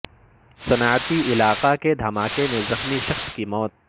صنعتی علاقہ کے دھماکے میں زخمی شخص کی موت